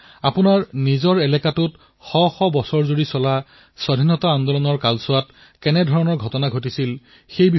যেনে আপোনালোক যি জিলাত বাস কৰে সেই জিলাত স্বাধীনতা যুদ্ধৰ কিবা ঘটনা ঘটিছিল নেকি ইয়াকে লৈ বিদ্যাৰ্থীসকলৰ দ্বাৰা গৱেষণা কৰোৱাব পাৰি